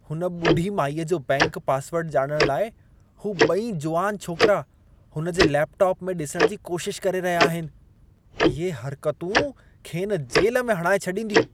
हुन ॿुढी माईअ जो बैंक पासवर्ड ॼाणण लाइ, हू ॿई जुवान छोकरा हुन जे लैपटोप में ॾिसण जी कोशिश करे रहिया आहिनि। इहे हर्कतूं खेनि जेल में हणाए छॾींदियूं।